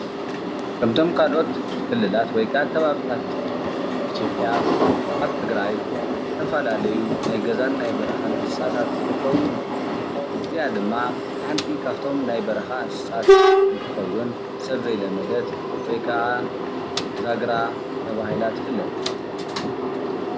ካምቶም ካልኦት ክልላት ወይ ከዓ ከባብታት ኢትዮጲያ አብ ትግራይ ዝተፈላለዩ ናይ ገዛን ናይ በረካን እንስሳታተ ዝርከቡ እንትኮን እዚአ ድማ ሓንቲ ካብቶም ናይ በረካ እንሰሳታት እንትትከውን ሰብ ዘይለመደት ወይ ከዓ ዛገራ ተባሂላ ትፍለጥ፡፡